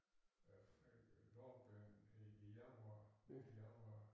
Øh lårbenet i i januar midt i januar